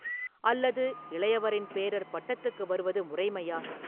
அல்லது இளையவரின் பேரர் பட்டத்துக்கு வருவது முறைமையா?